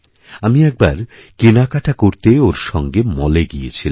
আমি একবার কেনাকাটা করতে ওর সঙ্গে মলে গিয়েছিলাম